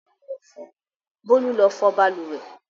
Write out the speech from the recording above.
Bólú lọ fọ balùwẹ̀!